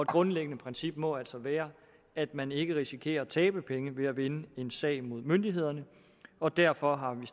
grundlæggende princip må altså være at man ikke risikerer at tabe penge ved at vinde en sag mod myndighederne og derfor har vi